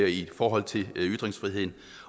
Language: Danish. i forhold til ytringsfriheden